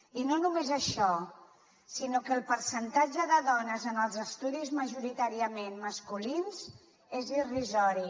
i no només això sinó que el percentatge de dones en els estudis majoritàriament masculins és irrisori